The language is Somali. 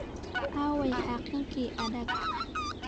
Aaway xaaqinka adaag?